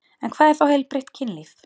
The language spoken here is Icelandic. En hvað er þá heilbrigt kynlíf?